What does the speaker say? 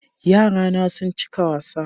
Yarana sun cika wasa